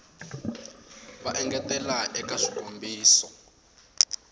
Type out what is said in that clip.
va ta engetela eka swikombiso